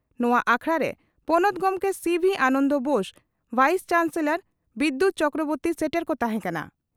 ᱱᱚᱣᱟ ᱟᱠᱷᱲᱟᱨᱮ ᱯᱚᱱᱚᱛ ᱜᱚᱢᱠᱮ ᱥᱤᱹᱵᱷᱤᱹ ᱟᱱᱚᱱᱫᱚ ᱵᱳᱥ, ᱵᱷᱟᱭᱤᱥ ᱪᱟᱱᱥᱮᱞᱚᱨ ᱵᱤᱫᱭᱩᱛ ᱪᱚᱠᱨᱚᱵᱚᱨᱛᱤ ᱥᱮᱴᱮᱨ ᱠᱚ ᱛᱟᱦᱮᱸ ᱠᱟᱱᱟ ᱾